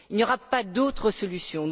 Il n'y aura pas d'autre solution.